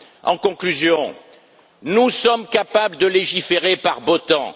En conclusion, nous sommes capables de légiférer par beau temps.